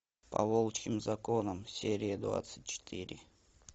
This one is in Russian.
по волчьим законам серия двадцать четыре